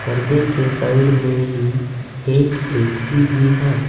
पर्दे के साइड में ही एक ए_सी भी है।